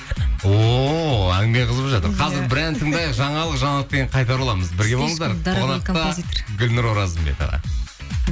ооо әңгіме қызып жатыр қазір бір ән тыңдайық жаңалық жаңалықтан кейін қайта ораламыз бірге болыңыздар қонақта гүлнұр оразымбетова